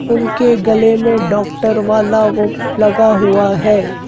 उनके गले में डॉक्टर वाला वो लगा हुआ हैं।